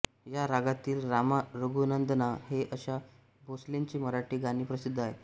या रागातील रामा रघुनंदना हे आशा भोसलेंचे मराठी गाणे प्रसिद्ध आहे